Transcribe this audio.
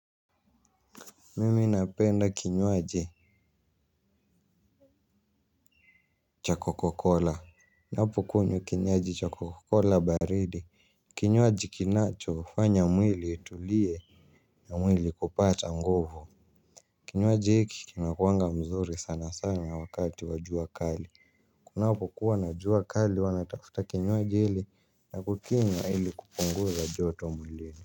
Mimi napenda kinyuaji cha kokakola. Ninapo kunywa kinywaji cha kokakola baridi kinyuaji kinacho fanya mwili utuliye mwili kupata nguvu kinyuaji hiki kinakuwaga kizuri sana sana wakati wa jua kali kunapokuwa na jua kali uwa natafuta kinywaji hiki na kukikunywa ili kupunguza joto mwilini.